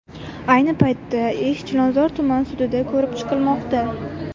Ayni paytda ish Chilonzor tuman sudida ko‘rib chiqilmoqda.